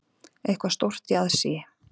Eitthvað stórt í aðsigi.